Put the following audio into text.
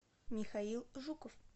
михаил жуков